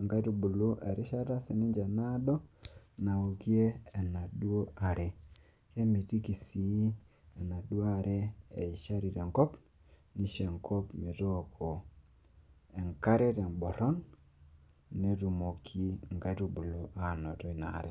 inkaitubulu erishata sii ninche naado naokie enaduoo are. kemitiki sii enaduoo are eishari tenkop. neisho enkop metooko enkare teboron, netumoki inkaitubulu aanoto ina are.